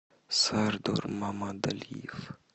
сардор мамадалиев